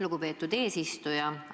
Lugupeetud eesistuja!